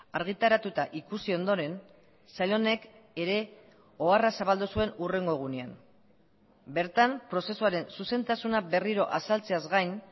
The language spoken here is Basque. argitaratuta ikusi ondoren sail honek ere oharra zabaldu zuen hurrengo egunean bertan prozesuaren zuzentasuna berriro azaltzeaz gain